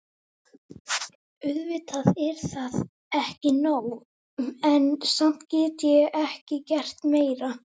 Auðvitað er það ekki nóg, en samt get ég ekki gert meira.